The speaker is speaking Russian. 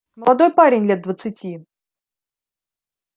молодой парень лет двадцати